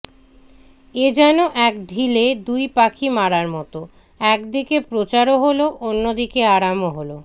এযেন এক ঢিলে দুই পাখি মারার মতো একদিকে প্রচারও হল অন্যদিকে আরাম করাও হল